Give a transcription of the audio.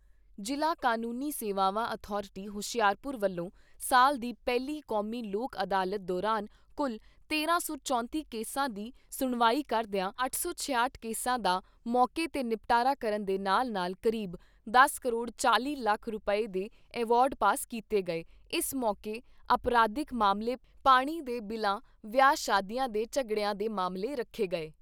ਜ਼ਿਲ੍ਹਾ ਕਾਨੂੰਨੀ ਸੇਵਾਵਾਂ ਅਥਾਰਟੀ ਹੁਸ਼ਿਆਰਪੁਰ ਵੱਲੋਂ ਸਾਲ ਦੀ ਪਹਿਲੀ ਕੌਮੀ ਲੋਕ ਅਦਾਲਤ ਦੌਰਾਨ ਕੁੱਲ ਤੇਰਾਂ ਸੌ ਚੌਂਤੀ ਕੇਸਾਂ ਦੀ ਸੁਣਵਾਈ ਕਰਦਿਆਂ ਅੱਠ ਸੌ ਠਿਆਹਟ ਕੇਸਾਂ ਦਾ ਮੌਕੇ 'ਤੇ ਨਿਪਟਾਰਾ ਕਰਨ ਦੇ ਨਾਲ ਨਾਲ ਕਰੀਬ ਦਸ ਕਰੋੜ ਚਾਲ਼ੀ ਲੱਖ ਰੁਪਏ ਦੇ ਐਵਾਰਡ ਪਾਸ ਕੀਤੇ ਗਏ ਇਸ ਮੌਕੇ ਅਪਰਾਧਿਕ ਮਾਮਲੇ ਪਾਣੀ ਦੇ ਬਿਲਾਂ ਵਿਆਹ ਸ਼ਾਦੀਆਂ ਦੇ ਝਗੜਿਆਂ ਦੇ ਮਾਮਲੇ ਰੱਖੇ ਗਏ।